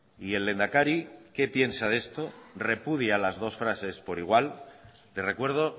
y el lehendakari qué piensa de esto repudia las dos frases por igual le recuerdo